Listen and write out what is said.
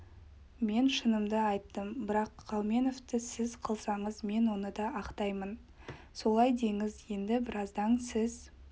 мен шынымды айттым бірақ қауменовті сөз қылсаңыз мен оны да ақтаймын солай деңіз енді біразда сіз